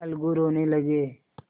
अलगू रोने लगे